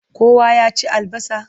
Kowa ya ci albasa?